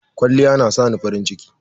Kwalliya yana sani farin ciki.